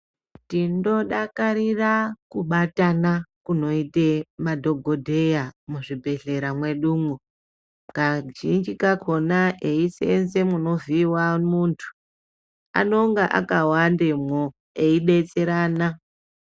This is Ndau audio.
Tinodakarira kubatana kunoite madhokodheya muzvibhedhlera mwedumwo kazhinji kakona eisenza munovhiiwa muntu anenge akawandamwo eidetserana.